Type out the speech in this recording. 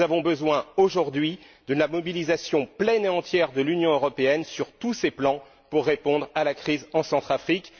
Nous avons besoin aujourd'hui de la mobilisation pleine et entière de l'Union européenne sur tous ces plans pour répondre à la crise en Centrafrique.